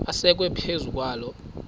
asekwe phezu kwaloo